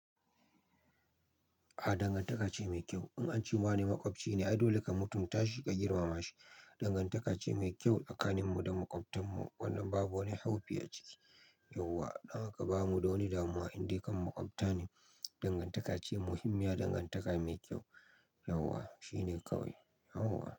A dangantaka ce mai kyau. In an ce wane maƙwabci ne, ai dole ka mutum tashi ka girmama shi. Dangantaka ce mai kyau tsakanin mu da maƙwabtan mu, wannan babu wani haufi a ciki. Yauwa, dan haka ba mu da wani damuwa, in dai kan maƙwabtane. Dangantaka ce muhimmiya, dangantaka mai kyau. Yauwa, shine kawai. Yauwa.